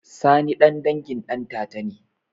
Sani ɗan dangin ɗantata ne?